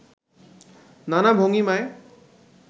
নানা ভঙ্গিমায়